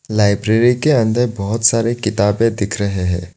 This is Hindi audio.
लाइब्रेरी के अंदर बहुत सारे किताबें दिख रहे हैं।